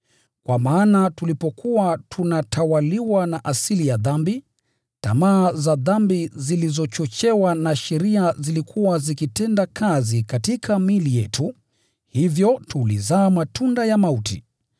Kwa maana tulipokuwa tunatawaliwa na asili ya dhambi, tamaa za dhambi zilizochochewa na sheria zilikuwa zikitenda kazi katika miili yetu, hivyo tulizaa matunda ya mauti.